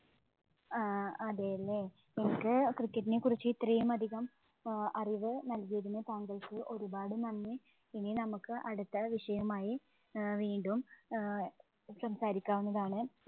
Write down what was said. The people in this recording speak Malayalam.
ആഹ് അതേല്ലേ, എനിക്ക് cricket ഇനെ കുറിച്ച് ഇത്രയുമധികം അറിവ് നല്‍കിയതിനു താങ്കള്‍ക്ക് ഒരു പാട് നന്ദി. ഇനി നമുക്ക് അടുത്ത വിഷയവുമായി ഏർ വീണ്ടും ഏർ സംസാരിക്കാവുന്നതാണ്.